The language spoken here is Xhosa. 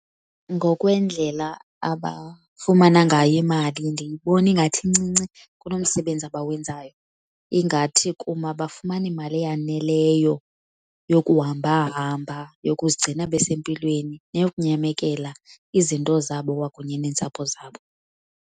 Ngokwendlela abafumana ngayo imali ndiyibona ingathi incinci kunomsebenzi abawenzayo. Ingathi kum abafumani mali eyaneleyo yokuhambahamba, yokuzigcina besempilweni neyokunyamekela izinto zabo kwakunye neentsapho zabo.